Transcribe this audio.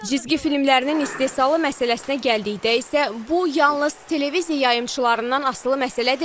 Cizgi filmlərinin istehsalı məsələsinə gəldikdə isə, bu yalnız televiziya yayımçılarından asılı məsələ deyil.